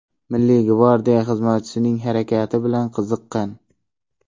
Milliy gvardiya xizmatchisining harakati bilan qiziqqan.